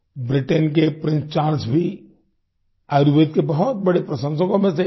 Britain के prince Charles भी आयुर्वेद के बहुत बड़े प्रशंसकों में से एक हैं